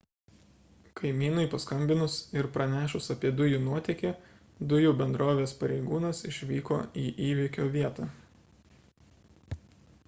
kaimynui paskambinus ir pranešus apie dujų nuotėkį dujų bendrovės pareigūnas išvyko į įvyko vietą